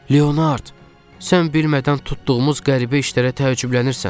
"Leonard, sən bilmədən tutduğumuz qəribə işlərə təəccüblənirsən."